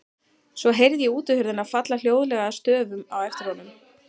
Svo heyrði ég útihurðina falla hljóðlega að stöfum á eftir honum.